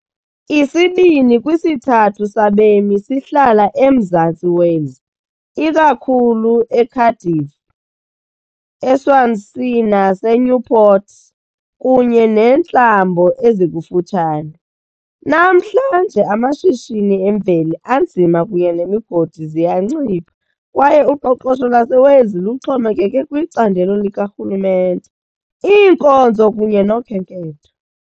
Isibini kwisithathu sabemi sihlala eMzantsi Wales, ikakhulu eCardiff, eSwansea naseNewport, kunye neentlambo ezikufutshane. Namhlanje, amashishini emveli anzima kunye nemigodi ziyancipha, kwaye uqoqosho lwaseWales luxhomekeke kwicandelo likarhulumente, iinkonzo kunye nokhenketho.